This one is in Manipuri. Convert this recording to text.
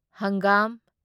ꯍꯪꯒꯥꯝ